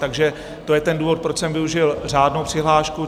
Takže to je ten důvod, proč jsem využil řádnou přihlášku.